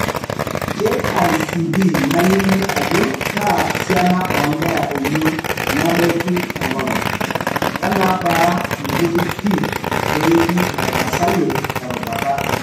KICD nalimu ajo kaa siana oonkera eyiew nebaiki tengolong', wenebaa inkuti pii peeji etarasayie erubata.